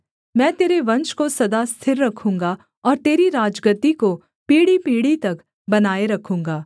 मैं तेरे वंश को सदा स्थिर रखूँगा और तेरी राजगद्दी को पीढ़ीपीढ़ी तक बनाए रखूँगा सेला